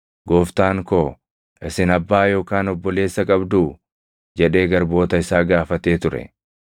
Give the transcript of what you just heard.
Gooftaan koo, ‘Isin abbaa yookaan obboleessa qabduu?’ jedhee garboota isaa gaafatee ture.